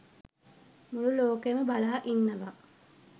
මුළු ලෝකයම බලා ඉන්නවා